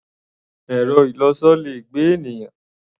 Ẹ̀rọ-ìlọsọ le gbé ènìyàn.